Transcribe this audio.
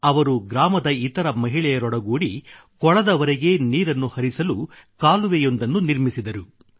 ಅವರು ಗ್ರಾಮದ ಇತರ ಮಹಿಳೆಯರೊಡಗೂಡಿ ಕೊಳದವರೆಗೆ ನೀರನ್ನು ಹರಿಸಲು ಕಾಲುವೆಯೊಂದನ್ನು ನಿರ್ಮಿಸಿದರು